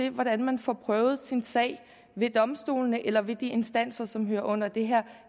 om hvordan man får prøvet sin sag ved domstolene eller ved de instanser som hører under det her